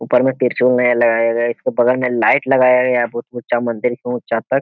ऊपर में त्रिशूल नया लगाया गया है। इसके बगल में लाइट लगाया गया है बहुत ऊंचा मंदिर के ऊँचा तक।